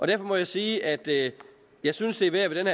derfor må jeg sige at jeg synes det er værd ved den